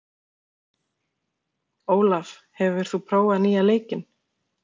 Olaf, hefur þú prófað nýja leikinn?